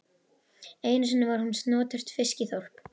Einu sinni var hún snoturt fiskiþorp.